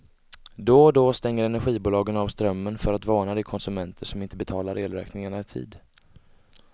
Då och då stänger energibolagen av strömmen för att varna de konsumenter som inte betalar elräkningarna i tid.